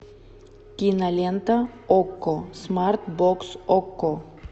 кинолента окко смарт бокс окко